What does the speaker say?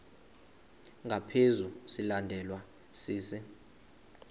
ngaphezu silandelwa sisi